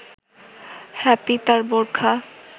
happy তার বোরখা